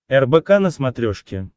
рбк на смотрешке